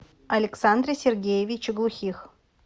александре сергеевиче глухих